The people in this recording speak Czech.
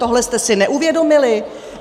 Tohle jste si neuvědomili?